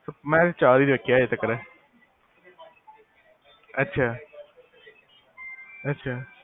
ਮੈਂ ਚਾਰ ਹੀ ਵੇਖੇ ਆ ਹਲੇ ਤੀਕਰ ਅਛਾ ਅਛਾ